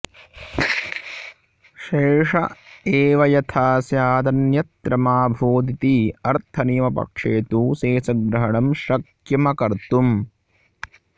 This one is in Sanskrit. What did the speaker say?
शेष एव यथा स्यादन्यत्र माभूदिति अर्थनियमपक्षे तु शेषग्रहमं शक्यमकर्त्तुम्